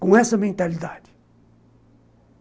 Com essa mentalidade.